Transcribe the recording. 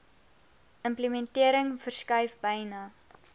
implementering verskuif byna